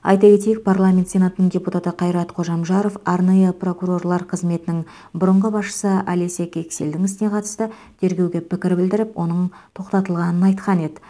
айта кетейік парламент сенатының депутаты қайрат қожамжаров арнайы прокурорлар қызметінің бұрынғы басшысы олеся кексельдің ісіне қатысты тергеуге пікір білдіріп оның тоқтатылғанын айтқан еді